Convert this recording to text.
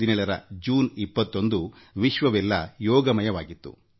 2017 ರ ಜೂನ್ 21 ವಿಶ್ವವೆಲ್ಲ ಯೋಗಯುಕ್ತವಾಗಿತ್ತು